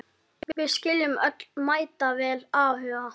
Við skiljum öll mætavel áhuga